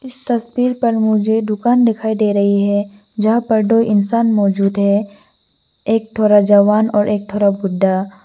इस तस्वीर पर मुझे दुकान दिखाई दे रही है जहां पर दो इंसान मौजूद है एक थोड़ा जवान और एक थोड़ा बुड्ढा।